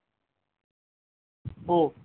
ও